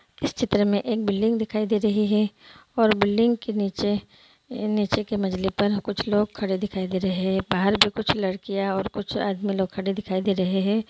इस चित्र में एक बिल्डिंग दिखाई दे रही है और बिल्डिंग के नीचे नीचे के मजले पर कुछ लोग खड़े दिखाई दे रहे है बाहर भी कुछ लडकियाँ और कुछ आदमी लोग खडे दिखाई दे रहे है।